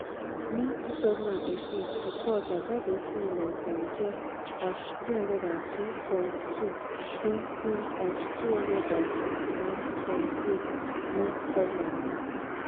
ní twenty eighteen ìkó ọjà jáde sí ilẹ̀ òkèèrè jẹ́ # three hundred two point two dín sí # two hundred sixty nine point eight ní twenty nineteen.